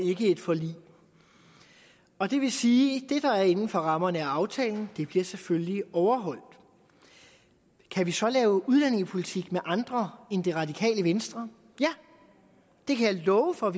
ikke et forlig og det vil sige at det der er inden for rammerne af aftalen selvfølgelig bliver overholdt kan vi så lave udlændingepolitik med andre end det radikale venstre ja det kan jeg love for at